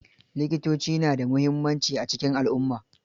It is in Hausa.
Likitoci na da mimuhimmaci a cikin alumma